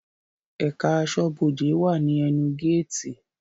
Ẹ̀ká aṣọ́bọdè wà ní ẹnu géètì